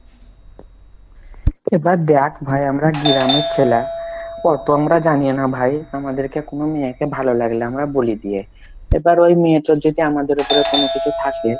এ বার দেক, ভাই আমরা গ্রামের ছেল্যা আছি অতো আমরা জানি না ভাই আমাদের কে কুনো মেয়ে কে ভালো লাগলে না বলে দি ই এবার ওই তার ওই মেয়েটার যদি আমাদের উপরে কোনো কিছু থাকে,